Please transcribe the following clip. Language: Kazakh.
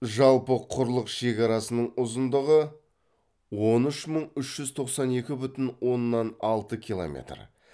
жалпы құрлық шекарасының ұзындығы он үш мың үш жүз тоқсан екі бүтін оннан алты километр